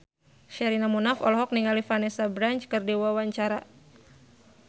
Sherina Munaf olohok ningali Vanessa Branch keur diwawancara